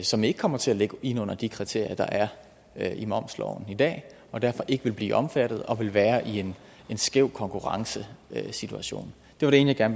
som ikke kommer til at ligge inde under de kriterier der er i momsloven i dag og derfor ikke vil blive omfattet og vil være i en skæv konkurrencesituation det var det ene jeg